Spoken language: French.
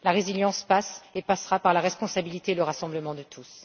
La résilience passe et passera par la responsabilité et le rassemblement de tous.